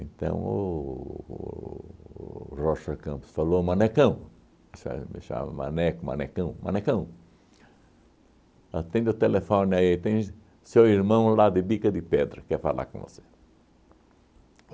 o o Rocha Campos falou, ó manecão, me chamava maneco, manecão, manecão, atende o telefone aí, tem seu irmão lá de Bica de Pedra, quer falar com você.